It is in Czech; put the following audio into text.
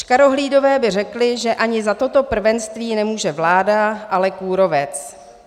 Škarohlídové by řekli, že ani za toto prvenství nemůže vláda, ale kůrovec.